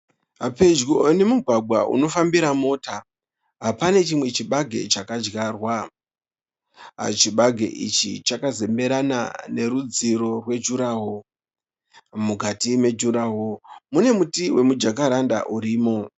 Pedyo nemugwagwa unofambira mota. Pane chimwe chibage chakadyarwa. Chibage ichi chakazemberana nerudziro rwejuraworo. Mukati mejuraworo mune muti wemujakaranda urimo